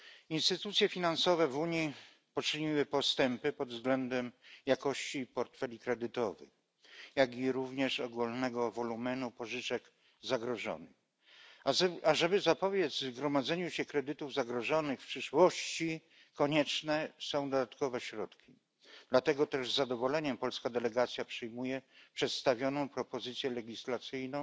Instytucje finansowe w Unii poczyniły postępy pod względem jakości portfeli kredytowych, jak i ogólnego wolumenu pożyczek zagrożonych. Aby zapobiec gromadzeniu się kredytów zagrożonych w przyszłości, konieczne są dodatkowe środki, dlatego też z zadowoleniem polska delegacja przyjmuje przedstawioną propozycję legislacyjną